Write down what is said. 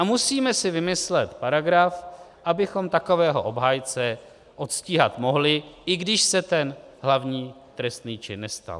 A musíme si vymyslet paragraf, abychom takového obhájce odstíhat mohli, i když se ten hlavní trestný čin nestal.